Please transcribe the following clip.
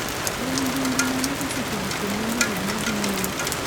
En mbu mbu mane esechegi kuom hollywood madhi nyime